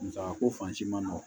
Musaka ko fansi man nɔgɔn